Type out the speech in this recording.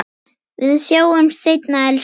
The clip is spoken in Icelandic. Við sjáumst seinna, elsku pabbi.